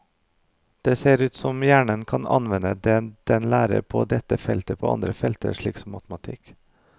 Det ser ut som hjernen kan anvende det den lærer på dette feltet på andre felter, slik som matematikk.